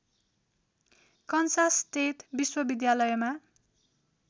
Kansas State विश्वविद्यालयमा